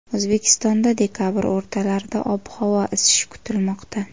O‘zbekistonda dekabr o‘rtalarida ob-havo isishi kutilmoqda.